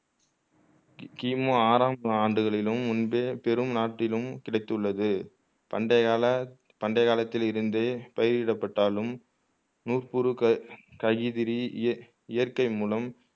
கிமு ஆறாம் ஆண்டுகளிலும் முன்பே பெரும் நாட்டிலும் கிடைத்துள்ளது பண்டையகால பண்டைய காலத்திலிருந்தே பயிரிடப் பட்டாலும் நூர்புருக கைதிறி இயற்கை மூலம்